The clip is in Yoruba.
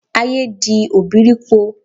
Ayé di òbírípo.